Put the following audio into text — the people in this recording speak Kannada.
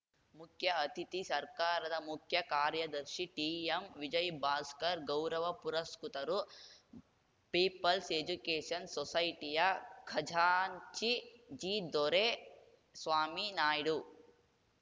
ಮುಖ್ಯ ಅತಿಥಿ ಸರ್ಕಾರದ ಮುಖ್ಯ ಕಾರ್ಯದರ್ಶಿ ಟಿಎಂವಿಜಯ್‌ಭಾಸ್ಕರ್‌ ಗೌರವ ಪುರಸ್ಕೃತರು ಪೀಪಲ್ಸ್‌ ಎಜುಕೇಷನ್‌ ಸೊಸೈಟಿಯ ಖಜಾಂಚಿ ಜಿದೊರೆಸ್ವಾಮಿ ನಾಯ್ಡು